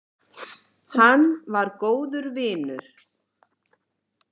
Hann var góður vinur.